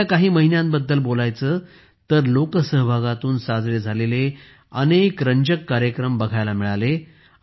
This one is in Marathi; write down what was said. गेल्या काही महिन्यांबद्दलच बोलायचे झाले तर लोकसहभागातून साजरे झालेले अनेक चांगले कार्यक्रम बघायला मिळाले